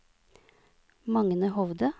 Magne Hovde